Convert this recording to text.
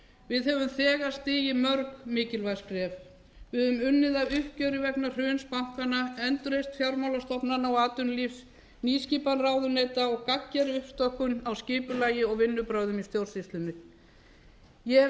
við höfum þegar stigið mörg mikilvæg skref við höfum unnið að uppgjöri vegna hruns bankanna endurreisn fjármálastofnana og atvinnulífs nýskipan ráðuneyta og gagngerri uppstokkun á skipulagi og vinnubrögðum í stjórnsýslunni ég hef